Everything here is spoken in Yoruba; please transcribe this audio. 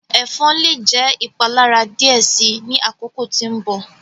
Ẹfọn le jẹ ipalara diẹ sii ni akoko ti nbọ.